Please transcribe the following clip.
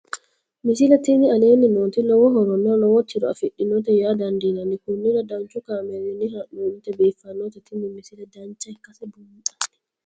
misile tini aleenni nooti lowo horonna lowo tiro afidhinote yaa dandiinanni konnira danchu kaameerinni haa'noonnite biiffannote tini misile dancha ikkase buunxanni